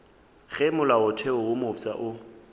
ge molaotheo wo mofsa o